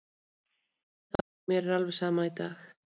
Mér var alveg sama þá og mér er alveg sama í dag.